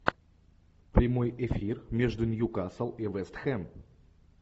прямой эфир между ньюкасл и вест хэм